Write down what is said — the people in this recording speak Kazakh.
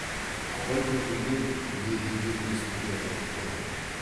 абай бөжейдің не дегенін естуге ынтық болатын